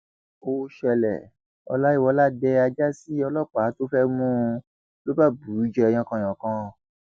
ó ṣẹlẹ ọláyíwọlá dé ajá sí ọlọpàá tó fẹẹ mú un ló bá bù ú jẹ yánkànyànkàn